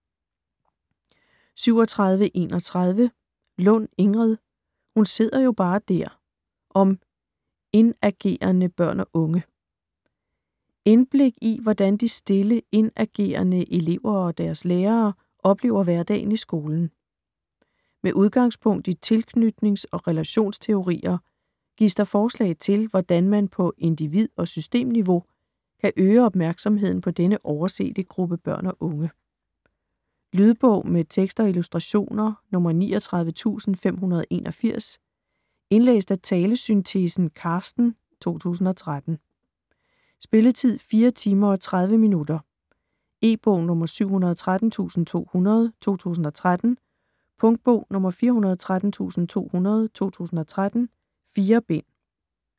37.31 Lund, Ingrid: Hun sidder jo bare der!: om indagerende børn og unge Indblik i hvordan de stille, indagerende elever og deres lærere oplever hverdagen i skolen. Med udgangspunkt i tilknytnings- og relationsteorier gives der forslag til, hvordan man på individ- og systemniveau kan øge opmærksomheden på denne oversete gruppe børn og unge. Lydbog med tekst og illustrationer 39581 Indlæst af talesyntesen Carsten, 2013. Spilletid: 4 timer, 30 minutter. E-bog 713200 2013. Punktbog 413200 2013. 4 bind.